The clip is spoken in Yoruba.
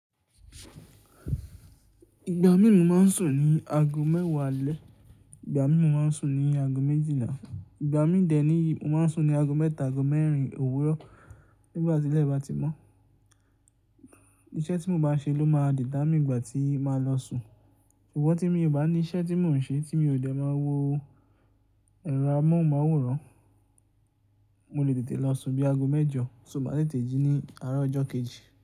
Ìgbà míi mo máa ń sùn ní aago mẹ́wàá alẹ́, ìgbà míi mo máa ń sùn ní aago méjìlá, ìgbà míi dẹ̀ níyi mo máa ń sùn ní aago mẹ́ta, aago mẹ́rin òwúrọ̀. Nígbà tí ilẹ̀ bá ti mọ́, iṣẹ́ tí mo bá ń ṣe ló máa determine mi ìgbà tí màá lọ sùn. Sugbọn tí mí ò bá ní iṣẹ́ tí mò ń ṣe tí mi ò dẹ máa wo ẹ̀rọ amóhùnmáwòrán, mo lè tètè lọ sùn bíi aago mẹ́jọ so maá tètè jí ní aaro ọjọ́ kejì.